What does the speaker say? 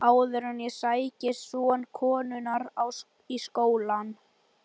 Áður en ég sæki son konunnar í skólann.